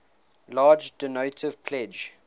large donative pledge